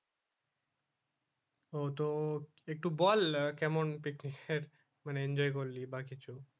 ওহ তো একটু বল কেমন picnic এ মানে enjoy করলি বা কিছু